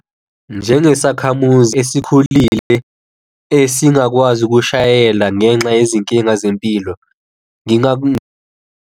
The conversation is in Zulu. Njengesakhamuzi esikhulile esingakwazi ukushayela ngenxa yezinkinga zempilo, .